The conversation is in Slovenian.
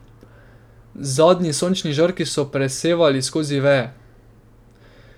Zadnji sončni žarki so presevali skozi veje.